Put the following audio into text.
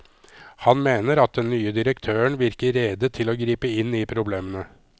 Han mener at den nye direktøren virker rede til å gripe inn i problemene.